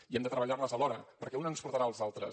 i hem de treballar les alhora perquè una ens portarà a les altres